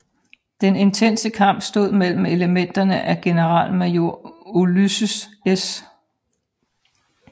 Den intense kamp stod mellem elementer af generalmajor Ulysses S